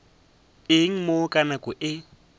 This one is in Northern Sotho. eng mo ka nako ye